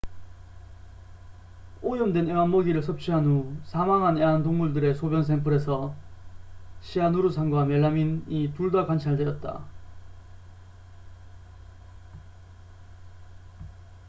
오염된 애완 먹이를 섭취한 후 사망한 애완동물들의 소변 샘플에서 시아누르산과 멜라민이 둘 다 관찰되었다